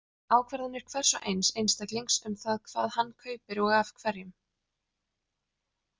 Ákvarðanir hvers og eins einstaklings um það hvað hann kaupir og af hverjum.